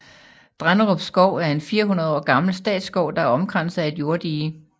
Drenderup Skov er en 400 år gammel statsskov der er omkranset af et jorddige